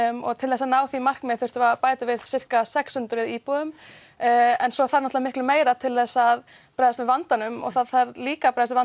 og til þess að ná því markmiði þyrftum við að bæta við sirka sex hundruð íbúðum en svo þarf náttúrulega miklu meira til þess að bregðast við vandanum og það þarf líka að bregðast